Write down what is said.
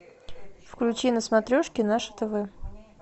включи на смотрешке наше тв